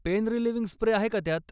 Pen relieving spray आहे का त्यात?